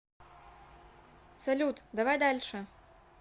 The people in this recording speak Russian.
салют давай дальше